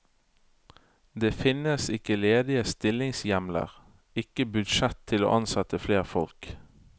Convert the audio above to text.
Det finnes ikke ledige stillingshjemler, ikke budsjett til å ansette flere folk.